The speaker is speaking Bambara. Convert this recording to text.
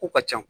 Ko ka ca